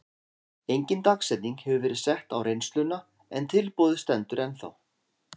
Engin dagsetning hefur verið sett á reynsluna en tilboðið stendur ennþá.